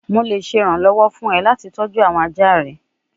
Mo le ṣe iranlọwọ fun ọ lati tọju awọn aja rẹ